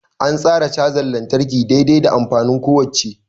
An tsara cajar lantarki dai-dai da amfanin kowacce.